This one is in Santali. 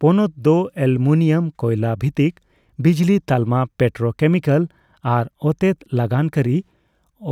ᱯᱚᱱᱚᱛ ᱫᱚ ᱮᱞᱩᱢᱤᱱᱤᱭᱟᱢ ᱹᱠᱚᱭᱞᱟ ᱵᱷᱤᱛᱤᱠ ᱵᱤᱡᱽᱞᱤ ᱛᱟᱞᱢᱟ, ᱯᱮᱴᱨᱳᱠᱮᱢᱤᱠᱮᱞ ᱟᱨ ᱛᱛᱮᱛ ᱞᱟᱜᱟᱱ ᱠᱟᱹᱨᱤ